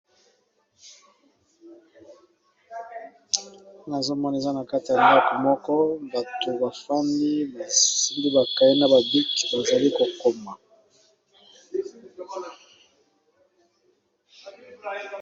nazomoni eza na kati ya mioko moko bato bafami basimbi bakai na babik bazali kokoma